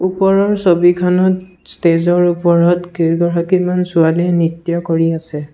ওপৰৰ ছবিখনত ষ্টেজৰ ওপৰত কেইগৰাকীমান ছোৱালীয়ে নৃত্য কৰি আছে।